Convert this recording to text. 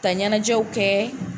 Ka ɲɛnajɛw kɛ